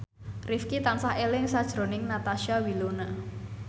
Rifqi tansah eling sakjroning Natasha Wilona